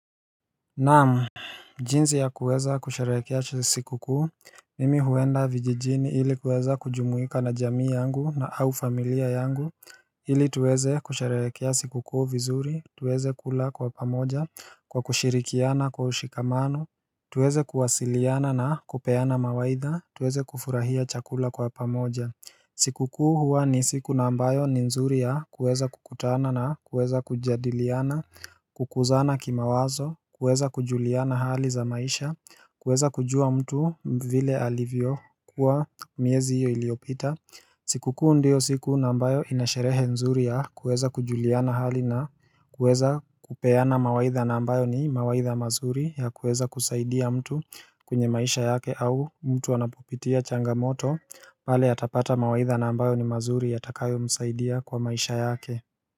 Namu jinzi ya kuweza kusharekea siku kuu Mimi huenda vijijini hili kuweza kujumuika na jamii yangu na au familia yangu Hili tuweze kusherekea siku kuu vizuri tuweze kula kwa pamoja kwa kushirikiana kwa ushikamano tuweze kuwasiliana na kupeana mawaidha tuweze kufurahia chakula kwa pamoja Sikukuu huwa ni siku nambayo ni nzuri ya kueza kukutana na kueza kujadiliana, kukuzana kima wazo, kuweza kujuliana hali za maisha, kueza kujua mtu vile alivyo kuwa miezi hiyo iliopita siku kuu ndio siku nambayo inasherehe nzuri ya kueza kujuliana hali na kueza kupeana mawaitha nambayo ni mawaitha mazuri ya kueza kusaidia mtu kwenye maisha yake au mtu wanapopitia changamoto pale atapata mawaitha nambayo ni mazuri ya takayo msaidia kwa maisha yake.